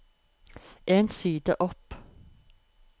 En side opp